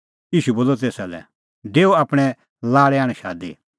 ईशू बोलअ तेसा लै डेऊ आपणैं लाल़ै आण शादी